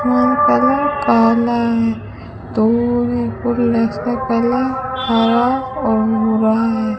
Colour काला है colour हरा और भूरा है।